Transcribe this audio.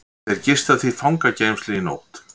Þeir gista því fangageymslu í nótt